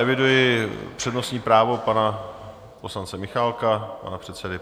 Eviduji přednostní právo pana poslance Michálka, pana předsedy.